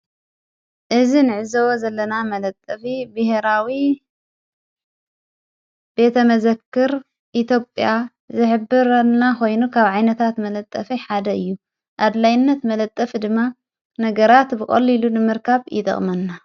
እዝ ንዕዝቦ ዘለና መለጠፊ ብሄራዊ ቤተ መዘክር ኢትዮጵያ ዝኅብርና ኾይኑ ካብ ዓይነታት መለጠፍይ ሓደ እዩ ኣድላይነት መለጠፍ ድማ ነገራት ብቖልኢሉ ንምርካብ ይጠቕመና::